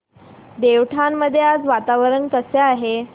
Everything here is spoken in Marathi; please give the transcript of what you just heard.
देवठाण मध्ये आज वातावरण कसे आहे